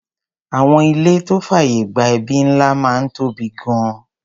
Àwọn ìlé tó fàyè gba ẹbí ńlá máa ń tóbi gan-an.